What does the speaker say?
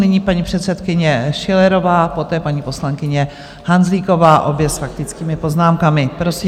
Nyní paní předsedkyně Schillerová, poté paní poslankyně Hanzlíková, obě s faktickými poznámkami.